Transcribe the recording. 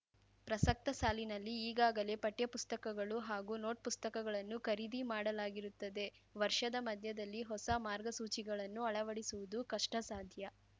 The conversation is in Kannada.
ಪ್ರಸಕ್ತ ಸಾಲಿನಲ್ಲಿ ಈಗಾಗಲೇ ಪಠ್ಯ ಪುಸ್ತಕಗಳು ಹಾಗೂ ನೋಟ್‌ಪುಸ್ತಕಗಳನ್ನು ಖರೀದಿ ಮಾಡಲಾಗಿರುತ್ತದೆ ವರ್ಷದ ಮಧ್ಯದಲ್ಲಿ ಹೊಸ ಮಾರ್ಗಸೂಚಿಗಳನ್ನು ಅಳವಡಿಸುವುದು ಕಷ್ಟಸಾಧ್ಯ